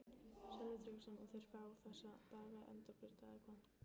Sölvi Tryggvason: Og þeir fá þessa daga endurgreidda eða hvað?